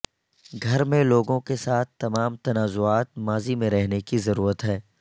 گھر میں لوگوں کے ساتھ تمام تنازعات ماضی میں رہنے کی ضرورت ہے